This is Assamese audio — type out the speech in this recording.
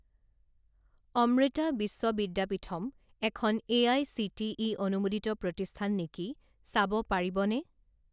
অমৃতা বিশ্ব বিদ্যাপীথম এখন এআইচিটিই অনুমোদিত প্ৰতিষ্ঠান নেকি চাব পাৰিবনে?